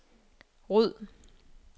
ryd